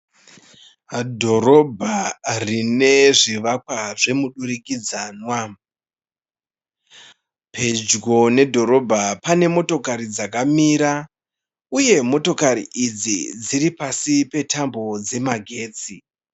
Dhorobha rine zvivakwa zvemudurikidzanwa. Pedyo nedhorobha pane motokari dzakamira uye motokari idzi dziripasi petambo dzemagetsi.